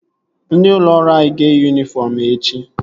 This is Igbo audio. Ndị ụlọ ọrụ anyị ga-eyi yunifọm echi